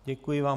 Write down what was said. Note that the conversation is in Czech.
Děkuji vám.